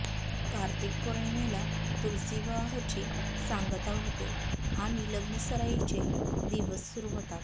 कार्तिक पौर्णिमेला तुलसी विवाहाची सांगता होते आणि लग्नसराईचे दिवस सुरु होतात